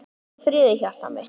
Hvíldu í friði hjartað mitt.